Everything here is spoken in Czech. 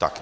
Tak.